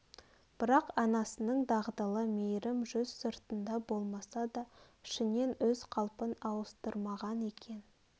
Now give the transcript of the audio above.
бірақ анасының дағдылы мейірім жүз сыртында болмаса да ішінен өз қалпын ауыстырмаған екен